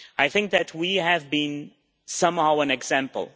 I think we have been, somehow, an example.